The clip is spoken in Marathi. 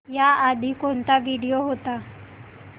याआधी कोणता व्हिडिओ होता